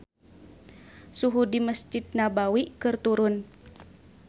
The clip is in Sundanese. Suhu di Mesjid Nabawi keur turun